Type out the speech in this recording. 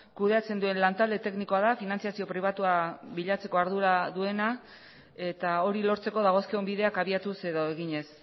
kudeatzen duen lantalde teknikoa da finantzazio pribatua bilatzeko ardura duena eta hori lortzeko dagozkion bideak abiatuz edo eginez